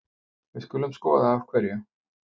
Við skulum skoða af hverju.